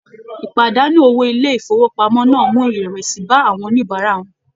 Ìpàdánù owó ilé ifowopamọ náà mú irẹwẹsi bá àwọn oníbárà wọn.